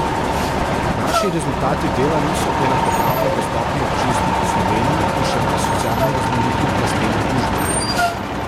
Naši rezultati dela niso enakopravno dostopni občinstvu po Sloveniji in še manj socialno raznolikim plastem družbe.